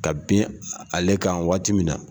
Ka bin ale kan waati min na.